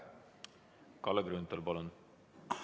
Kalle Grünthal, palun!